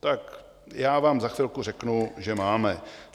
Tak já vám za chvilku řeknu, že máme.